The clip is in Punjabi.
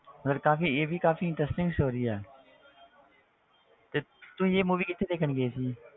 ਫਿਰ ਕਾਫ਼ੀ ਇਹ ਵੀ ਕਾਫ਼ੀ interesting story ਆ ਤੇ ਤੁਸੀਂ ਇਹ movie ਕਿੱਥੇ ਦੇਖਣ ਗਏ ਸੀ?